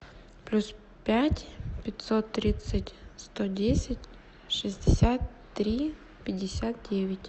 плюс пять пятьсот тридцать сто десять шестьдесят три пятьдесят девять